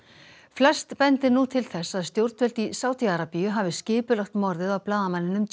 flest bendir nú til þess að stjórnvöld í Sádi Arabíu hafi skipulagt morðið á blaðamanninum